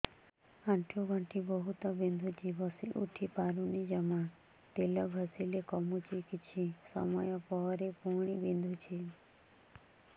ଆଣ୍ଠୁଗଣ୍ଠି ବହୁତ ବିନ୍ଧୁଛି ବସିଉଠି ପାରୁନି ଜମା ତେଲ ଘଷିଲେ କମୁଛି କିଛି ସମୟ ପରେ ପୁଣି ବିନ୍ଧୁଛି